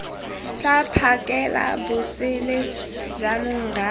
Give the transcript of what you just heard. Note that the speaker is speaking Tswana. tla phakela bosele jaanong rra